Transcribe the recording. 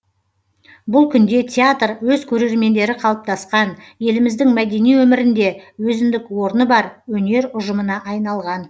бұл күнде театр өз көрермендері қалыптасқан еліміздің мәдени өмірінде өзіндік орны бар өнер ұжымына айналған